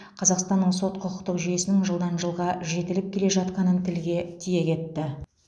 қазақстанның сот құқықтық жүйесінің жылдан жылға жетіліп келе жатқанын тілге тиек етті